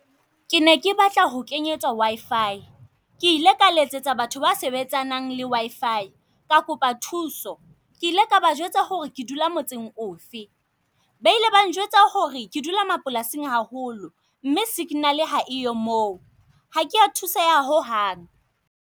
Ke ne ke batla ho kenyetswa W_I_F_I. Ke ile ka letsetsa batho ba sebetsanang le W_I_F_I, ka kopa thuso. Ke ile ka ba jwetsa ho re ke dula motseng ofe, ba ile ba njwetsa ho re ke dula mapolasing haholo mme signal-e ha eyo moo. ha kea thuseha ho hang.